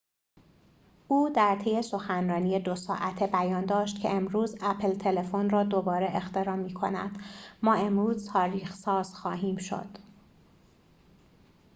او در طی سخنرانی ۲ ساعته بیان داشت که امروز اپل تلفن را دوباره اختراع می کند ما امروز تاریخ ساز خواهیم شد